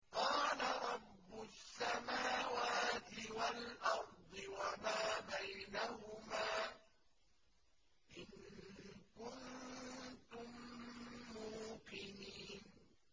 قَالَ رَبُّ السَّمَاوَاتِ وَالْأَرْضِ وَمَا بَيْنَهُمَا ۖ إِن كُنتُم مُّوقِنِينَ